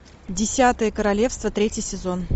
десятое королевство третий сезон